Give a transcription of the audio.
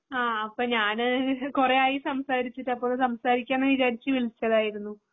അപ്പൊ ഞാന് ഈ കുറേയായി സംസാരിച്ചിട്ട് അപ്പൊ സംസാരിക്കാന് വിചാരിച്ചു വിളിച്ചതായിരുന്നു.